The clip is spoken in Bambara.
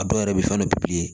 A dɔw yɛrɛ bɛ fɛn dɔ